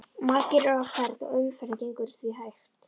Margir eru á ferð og umferðin gengur því hægt.